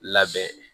Labɛn